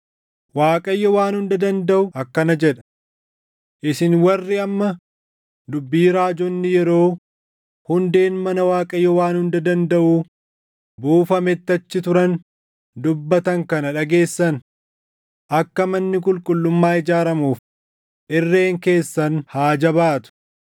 Waaqayyo Waan Hunda Dandaʼu akkana jedha: “Isin warri amma dubbii raajonni yeroo hundeen mana Waaqayyo Waan Hunda Dandaʼuu buufametti achi turan dubbatan kana dhageessan, akka manni qulqullummaa ijaaramuuf irreen keessan haa jabaatu.